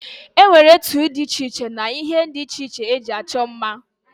E nwere etu dị iche iche na ihe ndị iche iche e ji achọ mma.